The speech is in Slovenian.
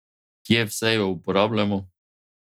Kje vse jo uporabljamo?